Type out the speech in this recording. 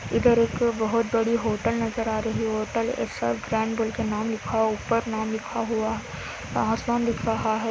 इधर एक बहुत बड़ी होटल नजर आ रही हे| होटल स र ग्रैंड बोल का नाम ऊपर नाम लिखा हुआ ओवर आसमान लिखा हुआ हे |